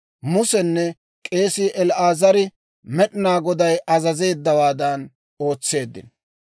Musenne k'eesii El"aazari Med'inaa Goday azazeeddawaadan ootseeddino.